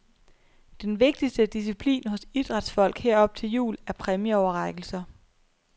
Den vigtigste disciplin hos idrætsfolk her op til jul er præmieoverrækkelser.